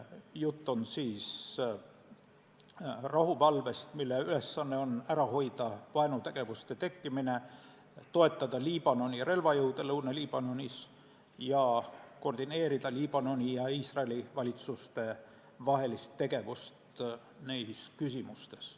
Jutt on rahuvalvest, mille ülesanne on ära hoida vaenutegevuste tekkimine, toetada Liibanoni relvajõude Lõuna-Liibanonis ning koordineerida Liibanoni ja Iisraeli valitsuse vahelist tegevust neis küsimustes.